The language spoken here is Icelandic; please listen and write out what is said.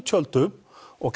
tjöldum og